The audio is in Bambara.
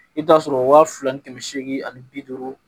I bɛ t'a sɔrɔ waa fila ni kɛmɛ seegin ani bi duuru